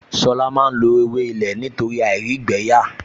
Ṣọlá máa lo ewé ilé nítorí àìrígbẹ̀ẹ́yà